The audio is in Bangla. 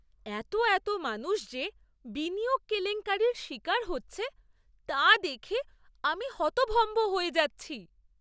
এতো এতো মানুষ যে বিনিয়োগ কেলেঙ্কারির শিকার হচ্ছে তা দেখে আমি হতভম্ব হয়ে যাচ্ছি!